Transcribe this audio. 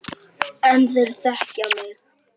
En þeir þekkja mig.